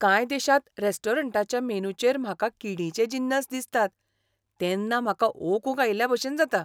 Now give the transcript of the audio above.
कांय देशांत रेस्टॉरंटांच्या मेनूचेर म्हाका किडींचे जिनस दिसतात तेन्ना म्हाका ओकूंक आयिल्लेभशेन जाता.